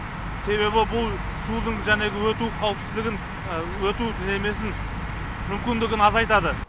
себебі бұл судың жәнегі өту қауіпсіздігін өту немесін мүмкіндігін азайтады